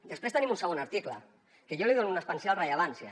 després tenim un segon article que jo li dono una especial rellevància